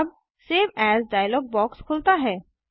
अब save as dialog box खुलता है